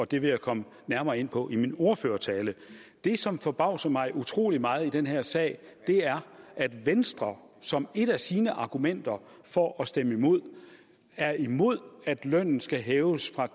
det vil jeg komme nærmere ind på i min ordførertale det som forbavser mig utrolig meget i den her sag er at venstre som et af sine argumenter for at stemme imod er imod at lønnen skal hæves fra